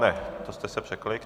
Ne, to jste se překlikl.